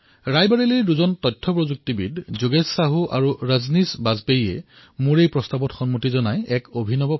ৰায়বৰেলীৰ দুজন তথ্য প্ৰযুক্তিৰ পেছাদাৰী যোগেশ সাহু আৰু ৰাজনীশ বাজপেয়ীয়ে মোৰ এই প্ৰত্যাহ্বান স্বীকাৰ কৰি এক অভিনৱ পৰ্য়াস কৰিলে